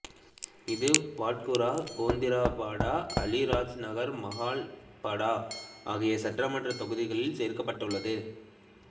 இது பாட்குரா கேந்திராபடா ஆளி ராஜ்நகர் மஹாகாள்படா ஆகிய சட்டமன்றத் தொகுதிகளில் சேர்க்கப்பட்டுள்ளது